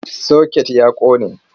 Soket ya ƙone.